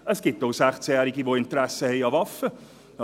Es gibt auch 16-Jährige, die ein Interesse an Waffen haben.